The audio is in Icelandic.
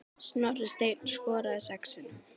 Snorri Steinn skoraði sex sinnum.